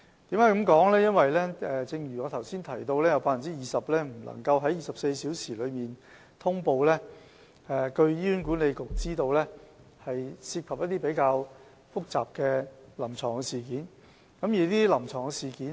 正如我剛才提及，有 20% 個案未及在24小時內呈報，據醫管局所知，是因為當中涉及一些比較複雜的臨床事件。